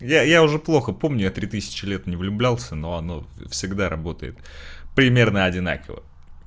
я я уже плохо помню я три тысячи лет не влюблялся но оно всегда работает примерно одинаково